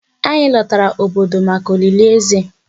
Anyị lọtara obodo maka olili Eze.